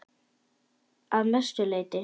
Að mestu leyti